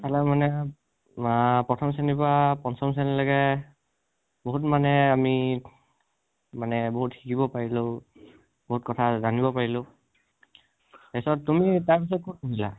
ৱা প্ৰথম শ্ৰেণীৰ পৰা পঞ্চম শ্ৰেণী লৈকে বহুত মানে আমি, মানে বহুত শিকিব পৰিলোঁ, বহুত কথা জানিব পৰিলোঁ, তাৰপিছত তুমি তাৰপিছত ক'ত পঢ়িলা??